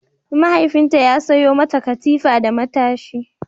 Mahaifinta ya sayo mata katifa da matashi.